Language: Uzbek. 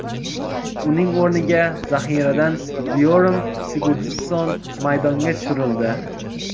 Uning o‘rniga zaxiradan Byorm Sigurdsson maydonga tushirildi.